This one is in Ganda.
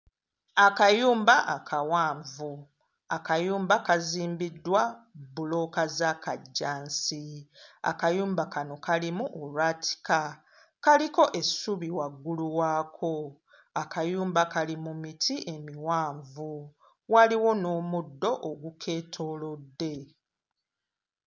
Akayumba akawanvu, akayumba kazimbiddwa bbulooka za kajjansi, akayumba kano kalimu olwatika, kaliko essubi waggulu waako, akayumba kali mu miti emiwanvu, waliwo n'omuddo ogukeetoolodde.